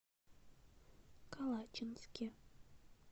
калачинске